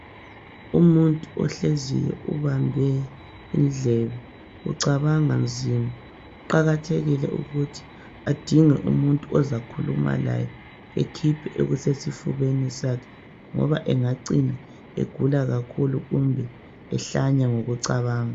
Umuntu ohleziyo, ubambe indlebe. Ucabanga nzima. Kuqakathekile ukuthi adinge umuntu ozakhuluma laye, ekhiphe okusesifubeni sakhe, ngoba engacina egula kakhulu, Kumbe ehlanya ngokucabanga,